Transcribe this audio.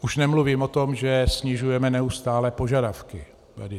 Už nemluvím o tom, že snižujeme neustále požadavky.